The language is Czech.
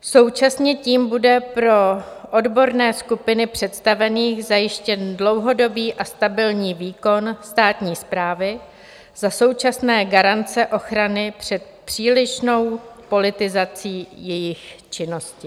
Současně tím bude pro odborné skupiny představených zajištěn dlouhodobý a stabilní výkon státní správy za současné garance ochrany před přílišnou politizací jejich činnosti.